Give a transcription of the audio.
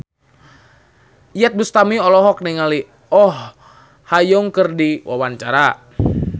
Iyeth Bustami olohok ningali Oh Ha Young keur diwawancara